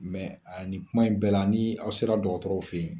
Mɛ ni kuma in bɛɛ la ni aw sera dɔgɔtɔrɔw fɛ yen